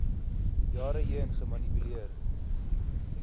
jare heen gemanipuleer